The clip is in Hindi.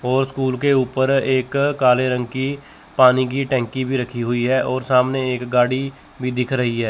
और स्कूल के ऊपर एक काले रंग की पानी की टंकी भी रखी हुई है और सामने एक गाड़ी भी दिख रही है।